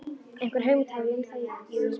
Einhverja hugmynd hafði ég um það, jú.